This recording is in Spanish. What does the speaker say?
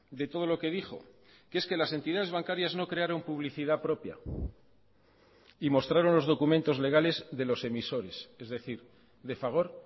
de todo lo que dijo que es que las entidades bancarias no crearon publicidad propia y mostraron los documentos legales de los emisores es decir de fagor